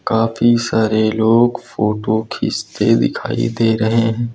काफी सारे लोग फोटो खींचते दिखाई दे रहे हैं।